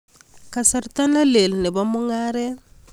Kasarta nelel nebo mung'aret